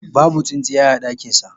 Babu tsintsiya a dakinsa.